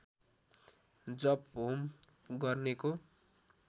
जप होम गर्नेको